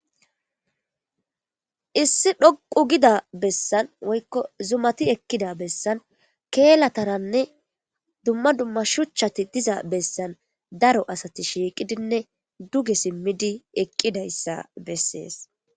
Issi dhoqu gida bessan woykko zumati ekkida bessan keelataranne dumma dumma shuchati diza bessan daro asati shiiqidinne duge simmidi eqqidayssa besees.